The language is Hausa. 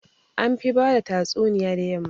An fi bada tatsuniya da yamma